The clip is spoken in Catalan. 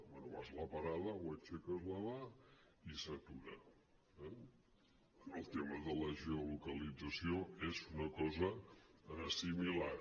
bé vas a la parada o aixeques la mà i s’atura eh el tema de la geolocalització és una cosa similar